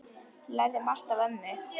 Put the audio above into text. Ég lærði margt af ömmu.